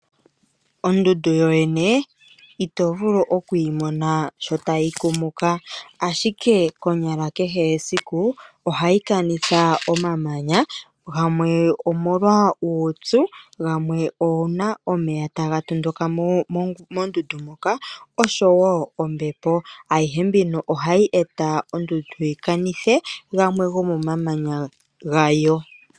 Ondundu yoyene ito vulu oku yi mona sho tayi kumuka ashike konyala kehe esiku ohayi kanitha omamanya, gamwe omolwa uupyu, gamwe uuna omeya taga tondoka mondundu moka oshowo ombepo, ayihe mbino ohayi e ta ondundu yi kanithe gamwe gomomamanya gayo.